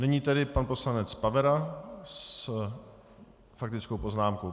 Nyní tedy pan poslanec Pavera s faktickou poznámkou.